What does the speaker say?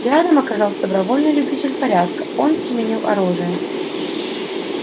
рядом оказался добровольный любитель порядка он применил оружие